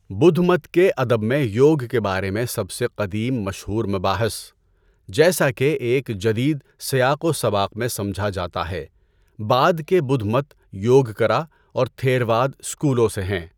بدھ مت کے ادب میں یوگ کے بارے میں سب سے قدیم مشہور مباحث، جیسا کہ ایک جدید سیاق و سباق میں سمجھا جاتا ہے، بعد کے بدھ مت یوگکرا اور تھیرواد اسکولوں سے ہیں۔